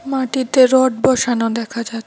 মাটিতে রড বসানো দেখা যাচ্ছে।